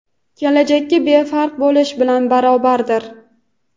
kelajakka befarq bo‘lish bilan barobardir.